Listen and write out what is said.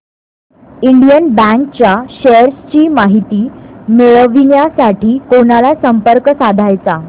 Indian bank च्या shares ची माहिती मिळविण्यासाठी कोणाला संपर्क साधायचा